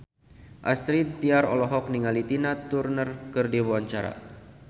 Astrid Tiar olohok ningali Tina Turner keur diwawancara